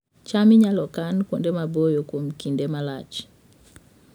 cham inyalo kan kuonde maboyo kuom kinde malach